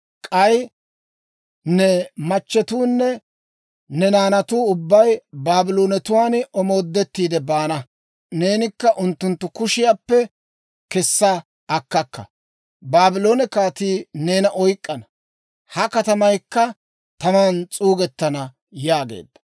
K'ay ne machchetuunne ne naanatuu ubbay Baabloonetuwaan omoodettiide baana. Neenikka unttunttu kushiyaappe kessa akkakka; Baabloone kaatii neena oyk'k'ana. Ha katamaykka taman s'uugettana» yaageedda.